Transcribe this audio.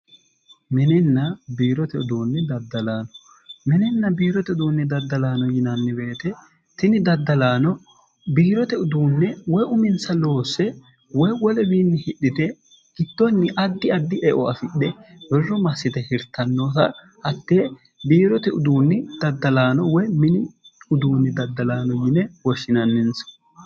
minenna biirote uduunni daddalaano minenna biirote uduunni daddalaano yinanni beete tini daddalaano biirote uduunne woy uminsa loosse woy wolewiinni hidhite gittonni addi addi eo afidhe birro massite hirtannoota hatte biirote uduunni daddalaano woy mini uduunni daddalaano yine woshshinanninsa